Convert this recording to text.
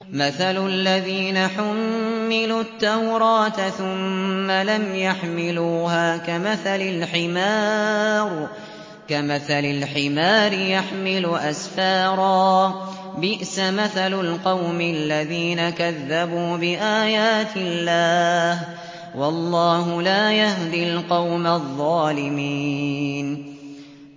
مَثَلُ الَّذِينَ حُمِّلُوا التَّوْرَاةَ ثُمَّ لَمْ يَحْمِلُوهَا كَمَثَلِ الْحِمَارِ يَحْمِلُ أَسْفَارًا ۚ بِئْسَ مَثَلُ الْقَوْمِ الَّذِينَ كَذَّبُوا بِآيَاتِ اللَّهِ ۚ وَاللَّهُ لَا يَهْدِي الْقَوْمَ الظَّالِمِينَ